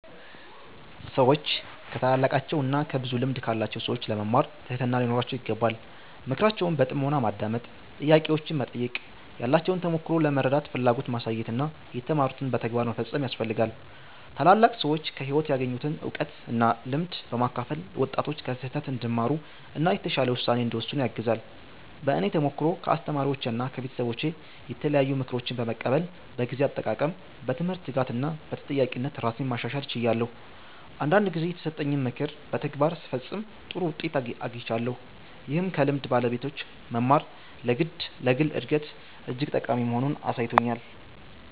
ሰዎች ከታላላቃቸው እና ከብዙ ልምድ ካላቸው ሰዎች ለመማር ትህትና ሊኖራቸው ይገባል። ምክራቸውን በጥሞና ማዳመጥ፣ ጥያቄዎችን መጠየቅ፣ ያላቸውን ተሞክሮ ለመረዳት ፍላጎት ማሳየት እና የተማሩትን በተግባር መፈጸም ያስፈልጋል። ታላላቅ ሰዎች ከህይወት ያገኙትን እውቀት እና ልምድ በማካፈል ወጣቶች ከስህተት እንዲማሩ እና የተሻለ ውሳኔ እንዲወስኑ ያግዛሉ። በእኔ ተሞክሮ ከአስተማሪዎቼና ከቤተሰቦቼ የተለያዩ ምክሮችን በመቀበል በጊዜ አጠቃቀም፣ በትምህርት ትጋት እና በተጠያቂነት ራሴን ማሻሻል ችያለሁ። አንዳንድ ጊዜ የተሰጠኝን ምክር በተግባር ስፈጽም ጥሩ ውጤት አግኝቻለሁ፣ ይህም ከልምድ ባለቤቶች መማር ለግል እድገት እጅግ ጠቃሚ መሆኑን አሳይቶኛል።